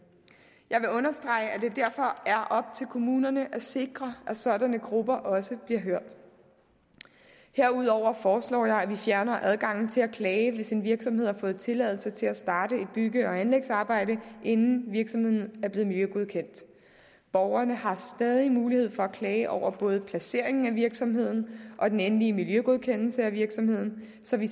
jeg vil understrege at det derfor er op til kommunerne at sikre at sådanne grupper også bliver hørt herudover foreslår jeg at vi fjerner adgangen til at klage hvis en virksomhed har fået tilladelse til at starte et bygge og anlægsarbejde inden virksomheden er blevet miljøgodkendt borgerne har stadig mulighed for at klage over både placeringen af virksomheden og den endelige miljøgodkendelse af virksomheden så vi